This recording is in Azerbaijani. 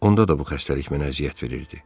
Onda da bu xəstəlik mənə əziyyət verirdi.